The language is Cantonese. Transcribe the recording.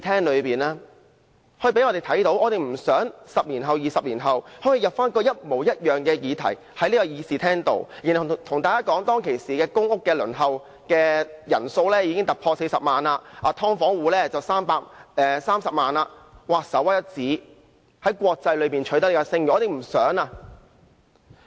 我們不想10年後、20年後要提出一模一樣的議題，然後在議事廳內對大家說，公屋輪候人數已經突破40萬人，"劏房戶"則有30萬人，在國際間屬首屈一指，我們不想取得這樣的"聲譽"。